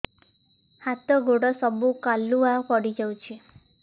ହାତ ଗୋଡ ସବୁ କାଲୁଆ ପଡି ଯାଉଛି